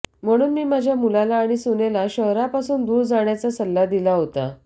म्हणून मी माझ्या मुलाला आणि सुनेला शहरापासून दूर जाण्याचा सल्ला दिला होता